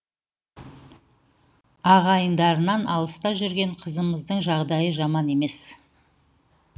ағайындарынан алыста жүрген қызымыздың жағдайы жаман емес